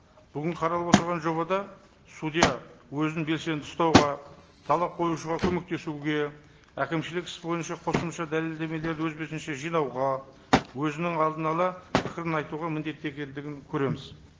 бүгін қаралып отырған жобада судья өзін белсенді ұстауға талап қоюшыға көмектесуге әкімшілік іс бойынша қосымша дәлелдемелерді өз бетінше жинауға өзінің алдын ала пікірін айтуға міндетті екендігін көреміз